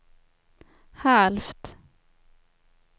halvt